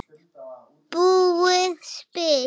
búið spil.